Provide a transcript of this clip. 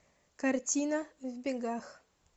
картина в бегах